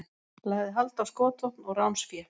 Lagði hald á skotvopn og ránsfé